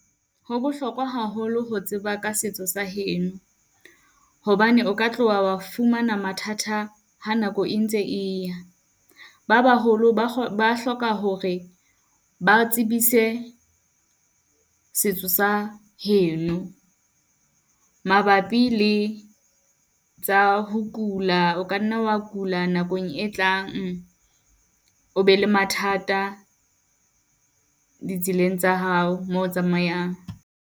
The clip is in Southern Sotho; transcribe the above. Ho bohlokwa haholo ho tseba ka setso sa heno, hobane o ka tloha wa fumana mathata ha nako e ntse e ya. Ba baholo ba ba hloka hore ba re tsebise setso sa heno, mabapi le tsa ho kula. O ka nna wa kula nakong e tlang, o be le mathata ditseleng tsa hao mo o tsamayang.